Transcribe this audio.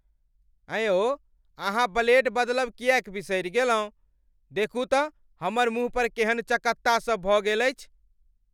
एँ यौ अहाँ ब्लेड बदलब किएक बिसरि गेलहुँ? देखू तँ हमर मुँह पर केहन चकत्ता सब भऽ गेल अछि!